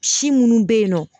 Si munnu be yen nɔ